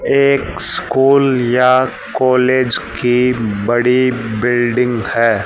एक स्कूल या कॉलेज की बड़ी बिल्डिंग है।